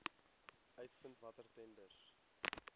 uitvind watter tenders